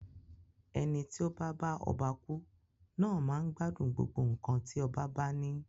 Eni tí o ba bá ọba ku naa máa n gbádùn gbogbo nkan ti ọba ba ni.